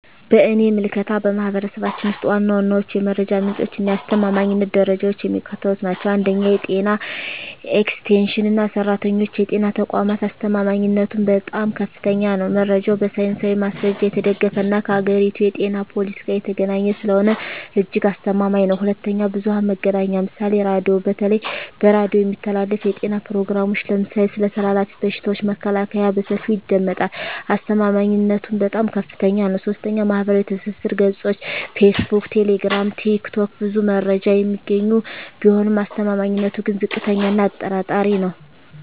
በእኔ ምልከታ፣ በማኅበረሰባችን ውስጥ ዋና ዋናዎቹ የመረጃ ምንጮችና የአስተማማኝነት ደረጃቸው የሚከተሉት ናቸው፦ 1. የጤና ኤክስቴንሽን ሠራተኞችና የጤና ተቋማት አስተማማኝነቱም በጣም ከፍተኛ ነው። መረጃው በሳይንሳዊ ማስረጃ የተደገፈና ከአገሪቱ የጤና ፖሊሲ ጋር የተገናኘ ስለሆነ እጅግ አስተማማኝ ነው። 2. ብዙኃን መገናኛ ምሳሌ ራዲዮ:- በተለይ በሬዲዮ የሚተላለፉ የጤና ፕሮግራሞች (ለምሳሌ ስለ ተላላፊ በሽታዎች መከላከያ) በሰፊው ይደመጣሉ። አስተማማኝነቱም በጣም ከፍታኛ ነው። 3. ማኅበራዊ ትስስር ገጾች (ፌስቡክ፣ ቴሌግራም፣ ቲክቶክ) ብዙ መረጃ የሚገኝ ቢሆንም አስተማማኝነቱ ግን ዝቅተኛ እና አጠራጣሪ ነው።